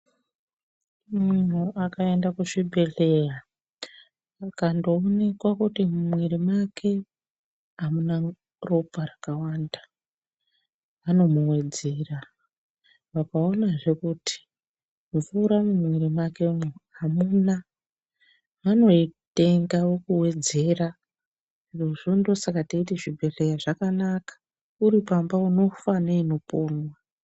Munhu akaenda kuzvibhedhleya vakandoonekwa kuti mumwiri mwake amuna ropa rakawanda vanomuwedzera. Vakaonazve kuti mvura mumwiri mwakemo hamuna vanoitenga vokuwedzera, zvirozvo ndosaka teiti zvibhedhlera zvakanaka. Uri pamba unofa neinoponwa.